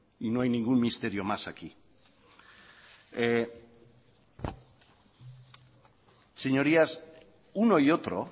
y no hay ningún misterio más aquí señorías uno y otro